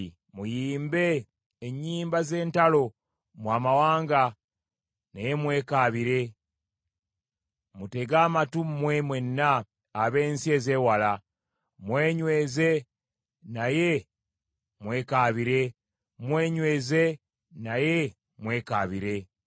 Muyimbe ennyimba z’entalo mmwe amawanga naye mwekaabire. Mutege amatu mmwe mwenna ab’ensi ezeewala; mwenyweze naye mwekaabire; mwenyweze naye mwekaabire.